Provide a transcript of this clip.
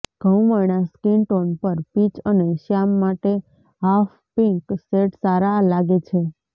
ઘઉંવર્ણા skin tone પર peach અને શ્યામ માટે હાફ પિંક શેડ સારા લાગે છે